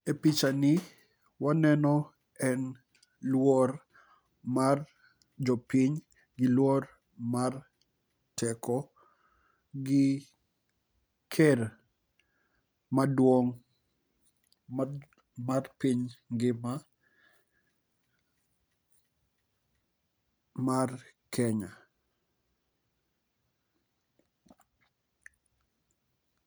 E picha ni waneno en luor mar jopiny gi luor mar teko gi ker maduong' ma mar piny ngima mar kenya.